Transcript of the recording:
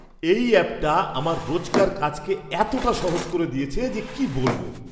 এই অ্যাপটা আমার রোজকার কাজকে এতটা সহজ করে দিয়েছে যে কি বলবো!